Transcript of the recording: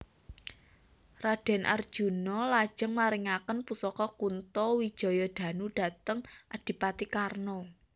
Raden Arjuna lajeng maringaken pusaka Kunto Wijayadanu dhateng Adipati Karna